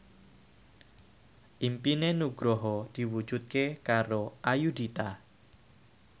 impine Nugroho diwujudke karo Ayudhita